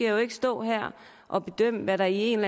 jo ikke stå her at bedømme hvad der i en